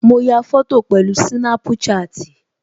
Mo ya fọ́tò pẹ̀lú Snapchat